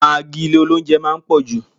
Magi ilé oúnjẹ máa ń pò jù.